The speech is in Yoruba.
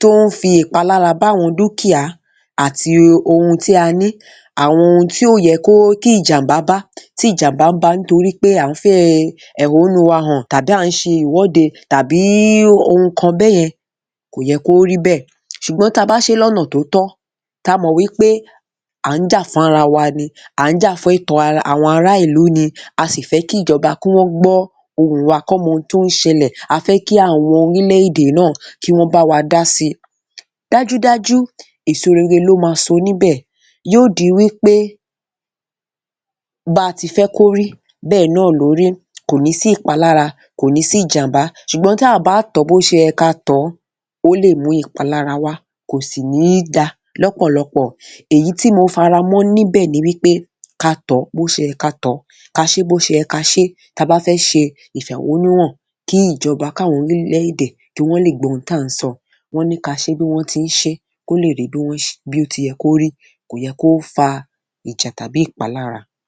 tó ń fi ìpalára bá àwọn dúkìá àti ohun tí a ní, àwọn ohun tí ò yẹ kí ìjàmbá bá, tí ìjàmbá báa nítorí pé à ń fi ẹ̀hónú wa hàn tàbí à ń ṣe ìwọ́de, tàbí ohun kan bẹ́yẹn, kò yọ kó rí bẹ́ẹ̀. Ṣùgbọ́n táa bá ṣe é lọ́nà tó tọ́, táa mọ̀ wí pé à ń jà fún ara wa ni, à ń jà fún ẹ̀tọ́ àwọn ará ìlú ni, a sì fẹ́ kí ìjọba kí wọ́n gbọ́ ohùn wa, kí wọ́n mọ ohun tó ń ṣẹlẹ̀, a fẹ́ kí àwọn oríl-èdè náà kí wọ́n bá wa dá síi. Dájúdájú èso rere ló máa so níbẹ̀. Yó di wí pé 'báa ti fẹ́ kó rí bẹ́ẹ̀ náà ló rí', kò ní sí ìpalára, kò ní sí ìjàmbá. Ṣùgbọ́n táà bá tọ̀ ọ́ bó ṣe yẹ káa tọ̀ ọ́, ó lè mú ìpalára wá, kò sì ní dáa lọ́pọ̀lọpọ̀. Èyí tí mo faramọ́ níbẹ̀ ni wí pé ká a tọ̀ ọ́ bó ṣe yẹ ká a tọ̀ ọ́, ká a ṣe é bó ṣe yẹ ká a ṣe é, tá a bá fẹ́ ṣe ìfẹ̀hónúhàn kí ìjọba, káwọn orílẹ̀-èdè kí wọ́ lè gbọ́ ohun tí à ń sọ. Wọ́n ní ká aṣe é bí wọ́n ti ń ṣe é kó le rí bó ti yẹ kó rí. Kò yẹ kó fa ìjà tàbí ìpalára.